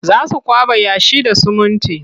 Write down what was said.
Za su kwaɓa yashi da sumunti.